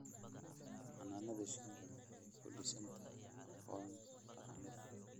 Xannaanada shinnidu waxay ku dhisan tahay aqoon dhaqameed.